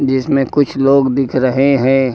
जिसमें कुछ लोग दिख रहे हैं।